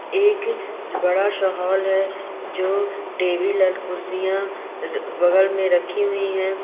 एक बड़ा-सा हाँल है जो टेबील एंड कुर्सियां अ बगल मे रखी हुई है।